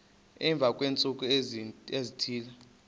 emva kweentsuku ezithile